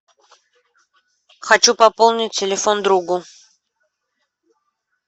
хочу пополнить телефон другу